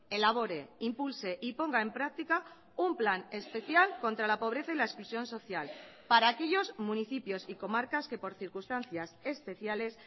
elabore impulse y ponga en práctica un plan especial contra la pobreza y la exclusión social para aquellos municipios y comarcas que por circunstancias especiales